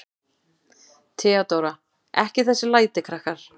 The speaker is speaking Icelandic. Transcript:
THEODÓRA: Ekki þessi læti, krakkar.